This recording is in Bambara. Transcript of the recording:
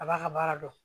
A b'a ka baara dɔn